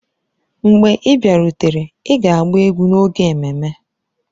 Mgbe ị bịarutere, ị ga-agba egwu n'oge ememme!